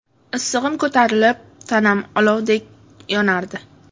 Issig‘im ko‘tarilib, tanam olovdek yonardi.